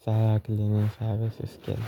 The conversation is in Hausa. Saya Cleaning Services kenan.